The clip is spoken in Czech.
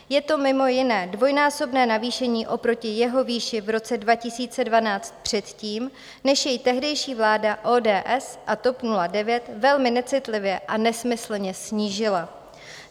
Je to mimo jiné dvojnásobné navýšení oproti jeho výši v roce 2012, předtím než jej tehdejší vláda ODS a TOP 09 velmi necitlivě a nesmyslně snížila.